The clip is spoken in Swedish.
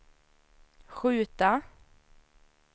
skjuta